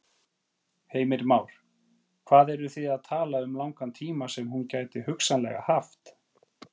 Heimir Már: Hvað eru þið að tala um langan tíma sem hún gæti hugsanlega haft?